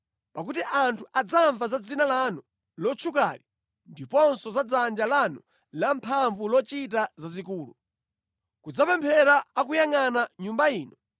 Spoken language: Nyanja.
pakuti anthu adzamva za dzina lanu lotchukali ndiponso za dzanja lanu lamphamvu ndi lochita zazikulu, kudzapemphera akuyangʼana Nyumba ino,